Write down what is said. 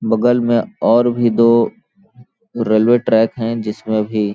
बगल में और भी दो रेलवे ट्रैक है जिसमें भी --